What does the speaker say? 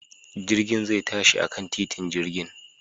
Jirgin zai tashi akan titin jirgin